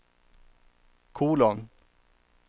kolon